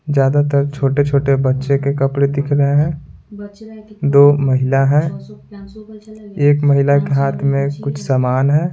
ज्यादातर छोटे-छोटे बच्चे के कपड़े दिख रहे हैं दो महिला हैं एक महिला के हाथ में कुछ समान है।